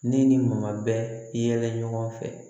Ne ni maa bɛ yɛlɛ ɲɔgɔn fɛ